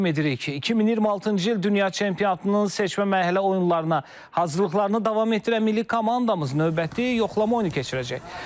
2026-cı il dünya çempionatının seçmə mərhələ oyunlarına hazırlıqlarını davam etdirən milli komandamız növbəti yoxlama oyunu keçirəcək.